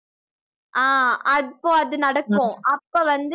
ஆஹ் அப்போ அது நடக்கும் அப்ப வந்து